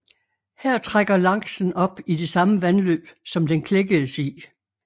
Her trækker laksen op i det samme vandløb som den klækkedes i